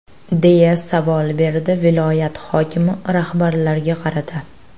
deya savol berdi viloyat hokimi rahbarlarga qarata.